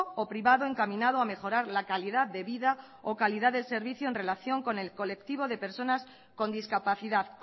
o privado encaminado a mejorar la calidad de vida o calidad del servicio en relación con el colectivo de personas con discapacidad